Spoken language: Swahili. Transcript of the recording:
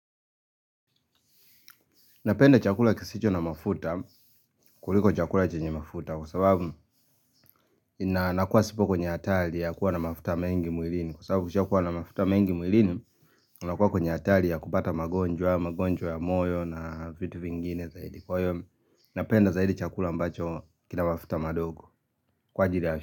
Napenda chakula kisicho na mafuta, kuliko chakula chenye mafuta kwa sababu ina nakuwa sipo kwenye hatari ya kuwa na mafuta mengi mwilini kwa sababu ukishakuwa na mafuta mengi mwilini unakuwa kwenye hatari ya kupata magonjwa, magonjwa ya moyo na vitu vingine zaidi. Kwa hiyo, napenda zaidi chakula ambacho kina mafuta madogo kwa ajili.